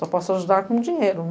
Só posso ajudar com dinheiro.